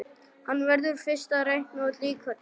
Hann verður fyrst að reikna út líkurnar.